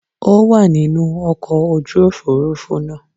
Ó wà nínú ọkọ̀ ojú òfuurufú náà.